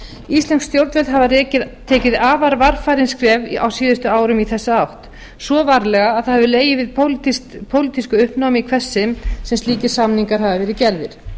íslensk stjórnvöld hafa tekið afar varfærin skref á síðustu árum í þessa átt svo varlega að það hefur legið við pólitísku uppnámi í hvert sinn sem slíkir samningar hafa verið gerðir